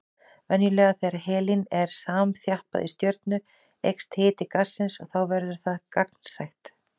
Venjulega þegar helín er samþjappað í stjörnu eykst hiti gassins og þá verður það gagnsætt.